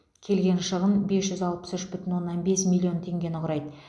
келген шығын бес жүз алпыс үш бүтін оннан бес миллион теңгені құрайды